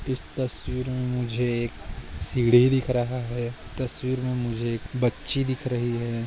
इस तस्वीर मे मुझे एक सीडी दिख रहा है इस तस्वीर मे मुझे एक बच्ची दिख रही है।